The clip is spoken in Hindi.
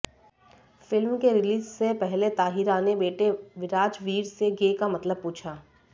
फिल्म के रिलीज से पहले ताहिरा ने बेटे विराजवीर से गे का मतलब पूछा